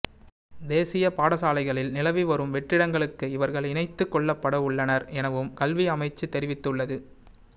தேசிய பாடசாலைகளில் நிலவி வரும் வெற்றிடங்களுக்கு இவர்கள் இணைத்துக் கொள்ளப்படவுள்ளனர் எனவும் கல்வி அமைச்சு தெரிவித்துள்ளது